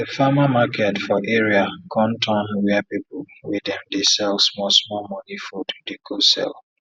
di farmer market for area con turn where people wey dem dey sell small small money food dey go sell